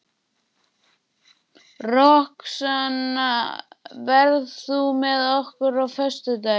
Roxanna, ferð þú með okkur á föstudaginn?